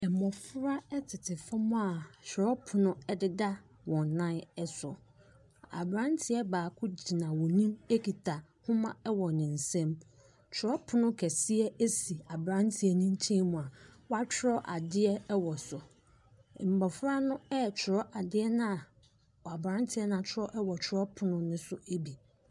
Mmofra tete fam a kyerɛwpono deda wɔn nan so. Abranteɛ baako gyina wɔn anim kita nwoma wɔ ne nsam. Kyerɛwpono kɛseɛ si abranteɛ ne nkyɛn mu a wɔatwerɛ adeɛ wɔ so. Mmofra no retwerɛ adeɛ no a abranteɛ no atwerɛ wɔ twerɛpono no so bi.